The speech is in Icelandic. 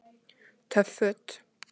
Töff Föt